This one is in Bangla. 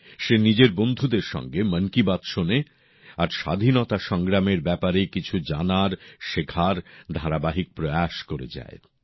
সে নিজের বন্ধুদের সঙ্গে মন কি বাত শোনে আর স্বাধীনতা সংগ্রামের ব্যাপারে কিছু জানার শেখার ধারাবাহিক প্রয়াস বজায় যায়